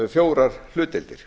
fjórar hlutdeildir